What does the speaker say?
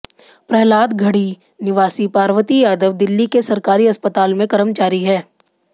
प्रहलाद गढ़ी निवासी पार्वती यादव दिल्ली के सरकारी अस्पताल में कर्मचारी हैं